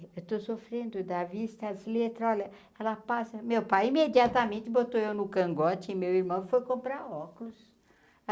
Eu tô sofrendo da vista, as letras... Olha, ela passa... Meu pai imediatamente botou eu no cangote e meu irmão foi comprar óculos.